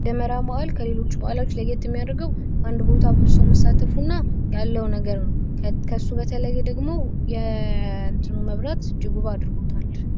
የደመራ በአል ከሌሎች በአላት ልዩ የሚያደርገው አንድ ቦታ ላይ ብዙ ሰዎች መሳተፋቸው ነው። መብራቱ እጅግ ውብ አድርጎታል።